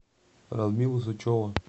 радмила сычева